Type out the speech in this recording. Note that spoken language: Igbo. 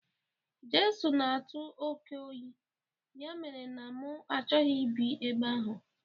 Josu n'atu oké oyi, ya mere na m achọghị ịbi ebe ahu